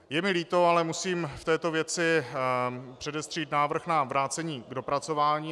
Je mi líto, ale musím v této věci předestřít návrh na vrácení k dopracování.